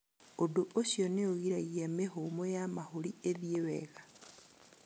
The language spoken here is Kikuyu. Ũndũ ũcio nĩ ũgiragia mĩhũmũ ya mahũri ĩthiĩ wega